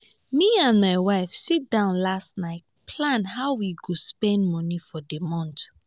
me and my wife sit down last night plan how we go spend money for the month